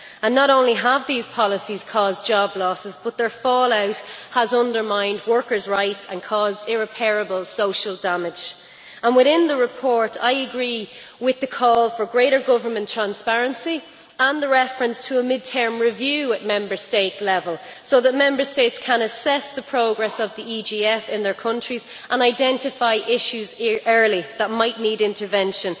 Not only have these policies caused job losses but their fallout has undermined workers' rights and caused irreparable social damage. Within the report, I agree with the call for greater government transparency and the reference to a mid term review at Member State level so that Member States can assess the progress of the EGF in their countries and identify issues early that might need intervention.